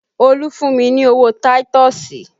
Olu fún mi ní owó táítọ̀sì